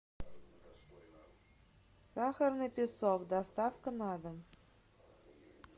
сахарный песок доставка на дом